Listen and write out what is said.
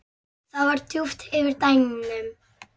Það var dauft yfir bænum.